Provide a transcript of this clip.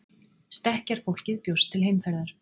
Stekkjarfólkið bjóst til heimferðar.